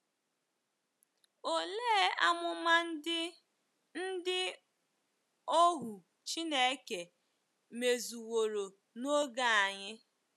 Olee amụma ndị ndị ohu Chineke mezuworo n’oge anyị?